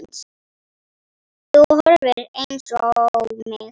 Þú horfir eins á mig.